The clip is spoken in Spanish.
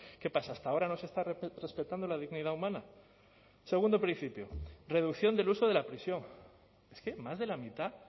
qué pasa hasta ahora no se está respetando la dignidad humana segundo principio reducción del uso de la prisión es que más de la mitad